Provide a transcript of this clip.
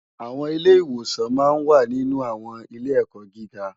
Awòn Ilè iwòsán mà n wá ninú áwòn ilé èkò gigá